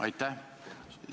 Aitäh!